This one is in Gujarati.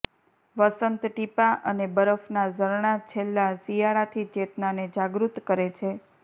વસંત ટીપાં અને બરફના ઝરણાં છેલ્લા શિયાળાથી ચેતનાને જાગૃત કરે છે